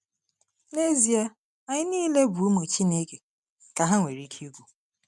N’ezie, anyị niile bụ ụmụ Chineke,” ka ha nwere ike ikwu.